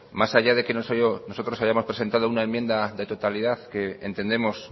más allá de que nosotros hayamos presentado una enmienda de totalidad que entendemos